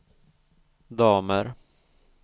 damer